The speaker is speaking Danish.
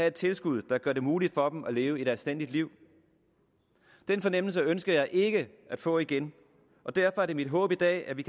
et tilskud der gør det muligt for dem at leve et anstændigt liv den fornemmelse ønsker jeg ikke at få igen og derfor er det mit håb i dag at vi